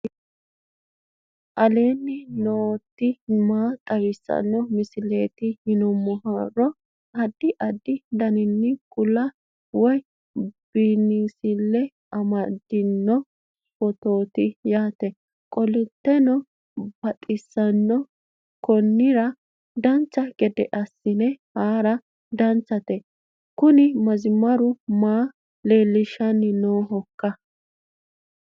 aleenni nooti maa xawisanno misileeti yinummoro addi addi dananna kuula woy biinsille amaddino footooti yaate qoltenno baxissannote konnira dancha gede assine haara danchate kuni mazimaru maa leellishshannohoikka